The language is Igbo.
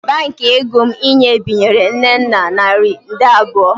Baankị ego m inye binyere Nnenna naira nde abụọ